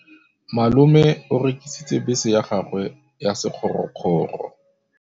Malome o rekisitse bese ya gagwe ya sekgorokgoro.